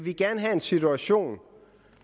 have en situation